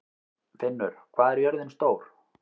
Finnur, hvað er jörðin stór?